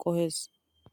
qohees.